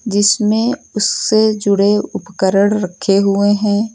जीसमें उससे जुड़े उपकरण रखे हुए हैं।